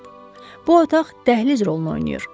Bu otaq dəhliz rolunu oynayır.